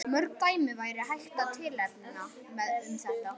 Mörg dæmi væri hægt að tilnefna um þetta.